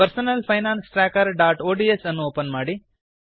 personal finance trackerಒಡಿಎಸ್ ಅನ್ನು open ಮಾಡಿ